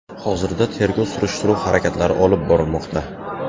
Hozirda tergov-surishtiruv harakatlari olib borilmoqda.